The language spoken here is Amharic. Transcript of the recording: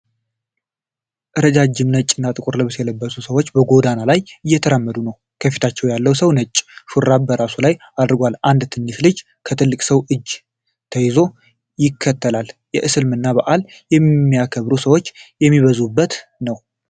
ረዣዥም ነጭና ጥቁር ልብስ የለበሱ ሰዎች በጎዳና ላይ እየተራመዱ ነው። ከፊታችን ያለው ሰው ነጭ ሹራብ በራሱ ላይ አድርጎአል። አንድ ትንሽ ልጅ ከትልቁ ሰው እጅ ተይዞ ይከተላል። የእስልምናን በዓል የሚያከብሩ ሰዎች የሚበዙበት ነው።